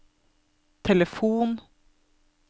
telefon